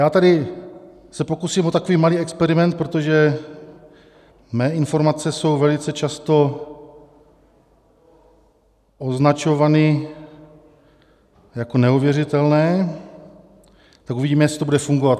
Já se tady pokusím o takový malý experiment, protože mé informace jsou velice často označovány jako neuvěřitelné, tak uvidíme, jestli to bude fungovat.